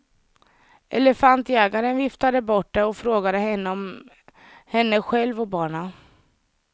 Elefantjägarn viftade bort det och frågade henne om henne själv och barnen.